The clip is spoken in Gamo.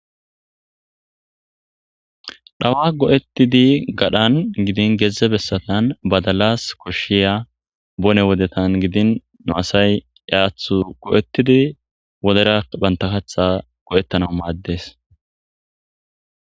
Dhawa go7ettidi gadhan gidin geedzze bessatan badalas koshshiya bone wodetan gidin nu asay yaathu go7ettidi wodera banta kaththa go7ettanau maaddes.